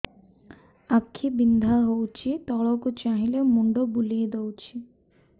ଆଖି ବିନ୍ଧା ହଉଚି ତଳକୁ ଚାହିଁଲେ ମୁଣ୍ଡ ବୁଲେଇ ଦଉଛି